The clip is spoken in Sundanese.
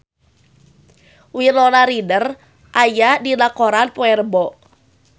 Winona Ryder aya dina koran poe Rebo